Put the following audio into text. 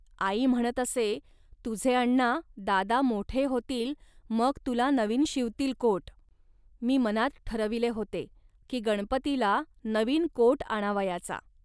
आई म्हणत असे, "तुझे अण्णा, दादा मोठे होतील, मग तुला नवीन शिवतील कोट. मी मनात ठरविले होते, की गणपतीला नवीन कोट आणावयाचा